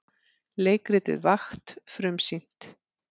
Leikritið Vakt frumsýnt